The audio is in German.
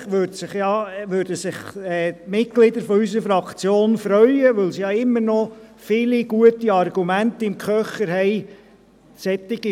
Zusätzlich würden sich die Mitglieder unserer Fraktion freuen, solche Fragen zu beantworten, weil sie ja immer noch viele gute Argumente im Köcher haben.